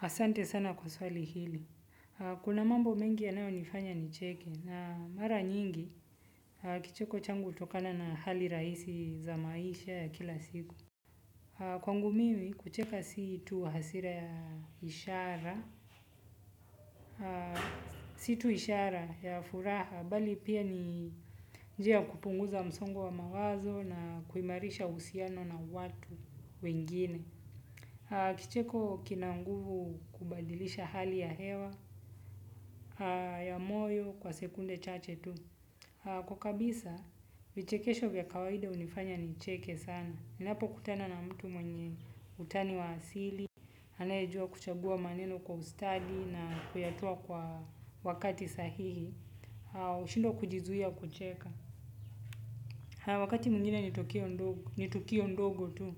Asante sana kwa swali hili. Kuna mambo mengi ya nayo nifanya ni cheke na mara nyingi kicheko changu utokana na hali raisi za maisha ya kila siku. Kwangu mimi kucheka situ hasira ya ishara. Situ ishara ya furaha bali pia ni njia kupunguza msongo wa mawazo na kuimarisha usiano na watu wengine. Kicheko kinanguvu kubadilisha hali ya hewa. Ya moyo kwa sekunde chache tu kwa kabisa, vichekesho vya kawaida unifanya ni cheke sana. Ninapo kutana na mtu mwenye utani wa asili. Hanejua kuchagua maneno kwa ustadi na kuyatoa kwa wakati sahihi. Shindwa kujizuia kucheka. Wakati mwingine nitukio ndogo tu.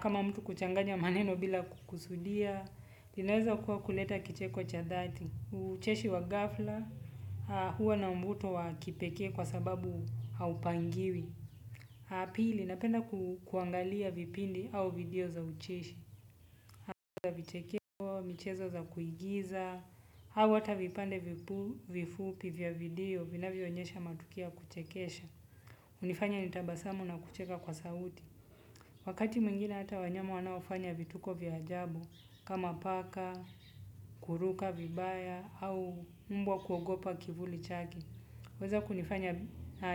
Kama mtu kuchanganya maneno bila kukusudia inaeza kuwa kuleta kicheko cha dhati. Ucheshi wa gafla huwa na mvuto wa kipeke kwa sababu haupangiwi pili napenda kuangalia vipindi au video za ucheshi. Uchizo za vichekeo, michezo za kuigiza au hata vipande vifupi vya video vina vyonyesha matukio ya kuchekesha. Unifanya nitabasamu na kucheka kwa sauti. Wakati mwingine hata wanyama wanaofanya vituko vya ajabu. Kama paka, kuruka, vibaya, au mbwa kuogopa kivuli chake huweza kunifanya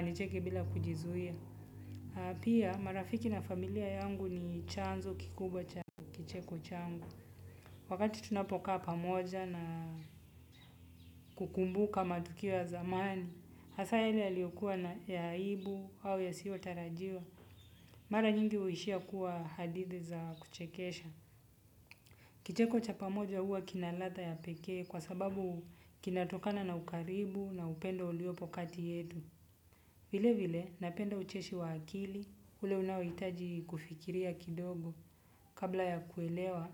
nicheke bila kujizuia. Pia marafiki na familia yangu ni chanzo kikubwa cha kicheko changu. Wakati tunapokaa pamoja na kukumbuka matukio ya zamani. Asa hili ya liyokuwa na yaibu au ya siotarajiwa. Mara nyingi huishia kuwa hadithi za kuchekesha. Kicheko cha pamoja huwa kinaladha ya pekee kwa sababu kinatokana na ukaribu na upendo uliopo kati yetu. Vile vile napenda ucheshi wa akili ule unaoitaji kufikiria kidogo kabla ya kuelewa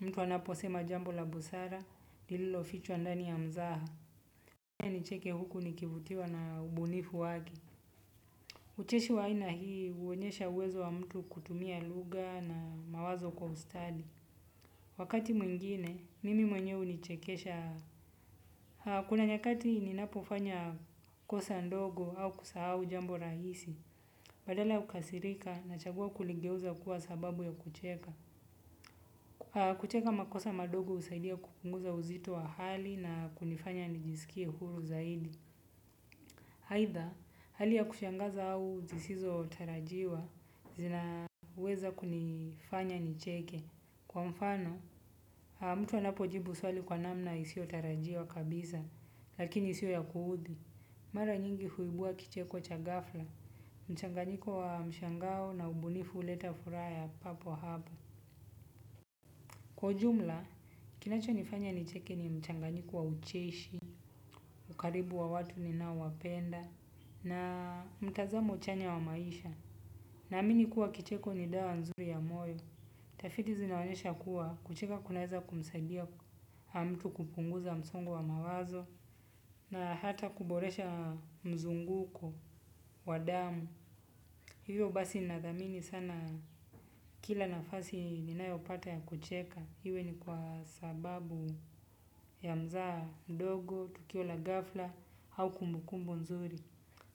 mtu anapo sema jambo la busara lililo fichwa ndani ya mzaha. Nicheke huku nikivutiwa na ubunifu wake. Ucheshi wa aina hii huonyesha uwezo wa mtu kutumia lugha na mawazo kwa ustadi. Wakati mwingine mimi mwenyewe hunichekesha. Kuna nyakati ninapofanya kosa ndogo au kusahau jambo rahisi, badala ya kukasirika na chagua kuligeuza kuwa sababu ya kucheka. Kucheka makosa madogo usaidia kupunguza uzito wa hali na kunifanya nijisikie huru zaidi. Haitha, hali ya kushangaza au zisizo tarajiwa zinaweza kunifanya nicheke. Kwa mfano, mtu anapo jibu swali kwa namna isio tarajiwa kabisa, lakini isio ya kuudhi. Mara nyingi huibua kicheko cha gafla, mchanganyiko wa mshangao na ubunifu huleta furaya ya papo hapo. Kwa ujumla, kinacho nifanya nicheke ni mchanganyiko wa ucheshi, ukaribu wa watu ni nao wa penda, na mtazamo chanya wa maisha. Na amini kuwa kicheko ni dawa nzuri ya moyo. Tafiti zinaonyesha kuwa kucheka kunaeza kumsaidia mtu kupunguza msongo wa mawazo na hata kuboresha mzunguko wa damu. Hivyo basi nathamini sana kila nafasi ninayopata ya kucheka. Hiwe ni kwa sababu ya mzaha ndogo, tukio la gafla au kumbukumbu nzuri.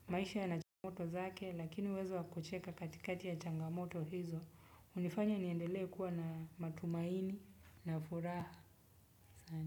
Maisha ya na changamoto zake lakini uwezo ya kucheka katikati ya changamoto hizo. Unifanya niendele kuwa na matumaini na furaha.